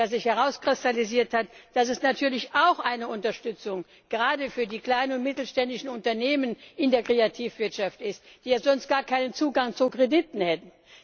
sich herauskristallisiert hat, dass es natürlich auch eine Unterstützung gerade für die kleinen und mittelständischen Unternehmen in der Kreativwirtschaft ist, die ja sonst gar keinen Zugang zu Krediten hätten.